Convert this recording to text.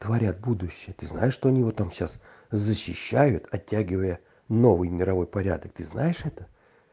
говорят будущее ты знаешь что у него там сейчас защищают оттягивая новый мировой порядок ты знаешь это